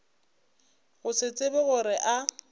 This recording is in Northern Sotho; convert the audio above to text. go se tsebe gore a